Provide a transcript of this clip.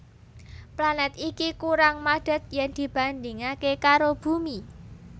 Planèt iki kurang madhet yen dibandhingaké karo Bumi